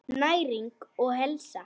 Næring og heilsa.